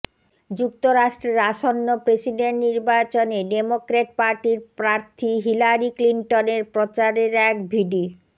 যুক্তরাষ্ট্রের আসন্ন প্রেসিডেন্ট নির্বাচনে ডেমোক্র্যাট পার্টির প্রার্থী হিলারি ক্লিনটনের প্রচারের এক ভিডি